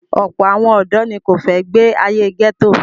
Ọ̀pọ̀ àwọn ọ̀dọ́ ni kò fẹ́ gbé ayé gẹ́tò.